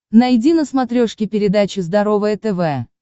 найди на смотрешке передачу здоровое тв